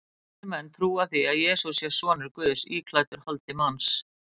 Kristnir menn trúa því að Jesús sé sonur Guðs íklæddur holdi manns.